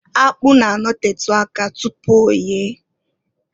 Akpụ na- anotetu aka tupu oye.